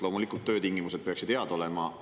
Loomulikult, töötingimused peaksid head olema.